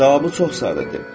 Cavabı çox sadədir.